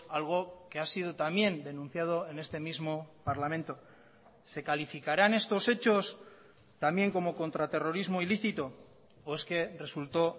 algo que ha sido también denunciado en este mismo parlamento se calificarán estos hechos también como contra terrorismo ilícito o es que resultó